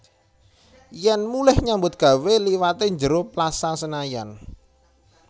Yen mulih nyambut gawe liwate njero Plaza Senayan